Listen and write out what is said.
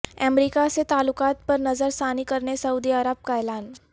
امریکہ سے تعلقات پر نظر ثانی کرنے سعودی عرب کا اعلان